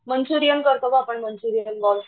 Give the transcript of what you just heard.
Manchurian करतोग आपण Manchurian बग